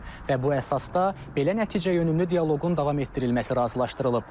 Və bu əsasda belə nəticəyönümlü dialoqun davam etdirilməsi razılaşdırılıb.